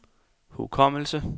hukommelse